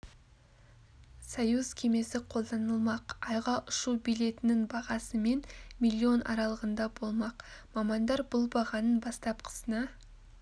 союз кемесі қолданылмақ айға ұшу билетінің бағасы мен миллион аралығында болмақ мамандар бұл бағаның бастапқысына